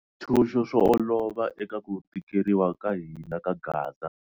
Switshuxo swo olova eka ku tikeriwa ka hina ka gaza.